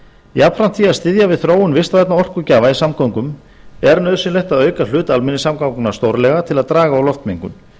jafnframt því að styðja við þróun vistvænna orkugjafa í samgöngum er nauðsynlegt að auka hlut almenningssamgangna stórlega til að draga úr loftmengun